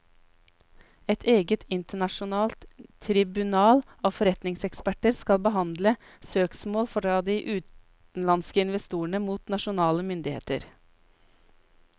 Et eget internasjonalt tribunal av forretningseksperter skal behandle søksmål fra de utenlandske investorene mot nasjonale myndigheter.